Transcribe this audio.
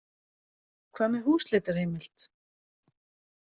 Hvað með húsleitarheimild?